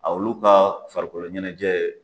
olu ka farikolo ɲɛnajɛ